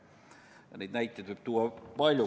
Neid põimimise näiteid võib tuua palju.